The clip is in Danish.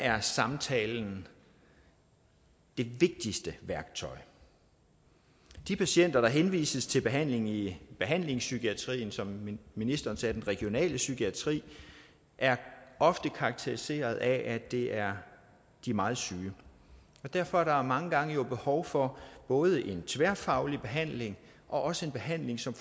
er samtalen det vigtigste værktøj de patienter der henvises til behandling i behandlingspsykiatrien som ministeren sagde den regionale psykiatri er ofte karakteriseret af at de er meget syge derfor er der mange gange behov for både en tværfaglig behandling og også en behandling som